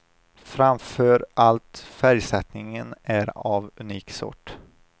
Framför allt färgsättningen är av unik sort.